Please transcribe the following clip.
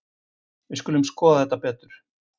Við skulum skoða þetta betur.